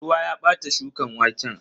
Ruwa ya bata shukan waken.